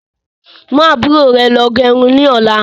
Mú àbúrò rẹ lọ gẹrun ni ọ̀la.